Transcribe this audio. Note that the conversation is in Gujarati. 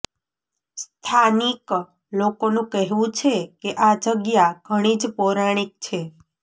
સ્થાનીક લોકોનું કહેવું છે કે આ જગ્યા ઘણી જ પૌરાણીક છે